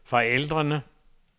forældrene